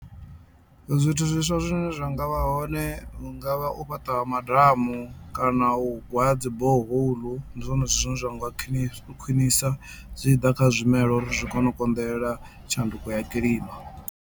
Zwithu zwiswa zwine zwa nga vha hone hungavha u fhaṱa madamu kana u gwa dzi borehole ndi zwone zwithu zwine zwa nga khwiṋisa zwi tshi ḓa kha zwimelwa uri zwi kone u konḓelela tshanduko ya kilima.